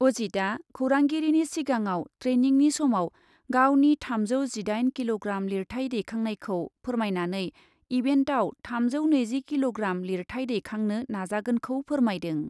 अजितआ खौरांगिरिनि सिगाङाव ट्रेनिंनि समाव गावनि थामजौ जिदाइन किल'ग्राम लिरथाय दैखांनायखौ फोरमायनानै इभेन्टआव थामजौ नैजि किल'ग्राम लिरथाय दैखांनो नाजागोनखौ फोरमायदों।